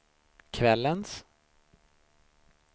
kvällens